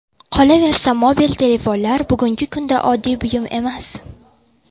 Qolaversa, mobil telefonlar bugungi kunda oddiy buyum emas.